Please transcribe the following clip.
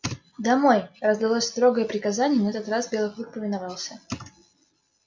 домой раздалось строгое приказание и на этот раз белый клык повиновался